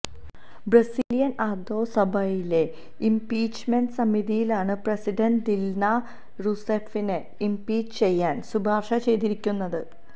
Brazilian അധോസഭയിലെ impeachment സമിതിയാണ് president Dilma റൂസേഫിനെ ഇംപീച്ച് ചെയ്യാന് ശുപാര്ശ ചെയ്തിരിക്കുന്നത്